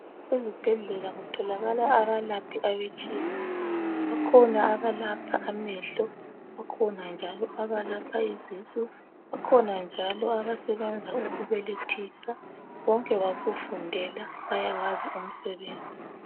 Ezibhedlela kutholakala abelaphi abatshiyeneyo. Bakhona abelapha amehlo, izisu kanti abanye bayabelethisa. Bonke bakufundela bayawazi umsebenzi.